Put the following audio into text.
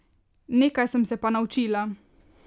Nekaj sem se pa naučila.